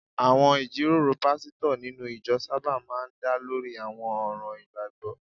Àwọn ìjíròrò pásítọ̀ nínú ìjọ sábà máa ń dá lórí àwọn ọ̀ràn ìgbàgbọ́